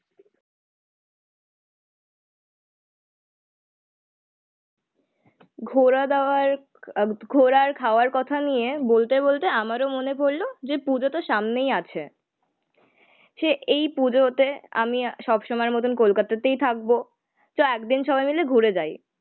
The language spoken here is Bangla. ঘোরা দাওয়া আহ ঘোরা আর খাওয়ার কথা নিয়ে বলতে বলতে আমারও মনে পড়লো যে পুজোতো সামনেই আছে, সে এই পুজোতে আমি সবসময়ের মতো কলকাতাতেই থাকবো। চল একদিন সবাই মিলে ঘুরে যায়